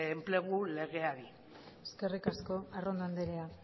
enplegu legeari eskerrik asko arrondo andrea